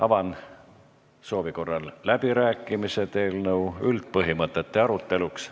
Avan soovi korral läbirääkimised eelnõu üldpõhimõtete aruteluks.